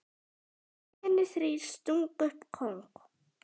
Hinir þrír stungu upp kóng.